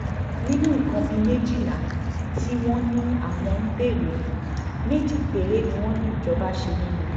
nínú nǹkan bíi méjìlá tí wọ́n ní àwọn ń béèrè fún méjì péré ni wọ́n ní ìjọba ṣe nínú rẹ̀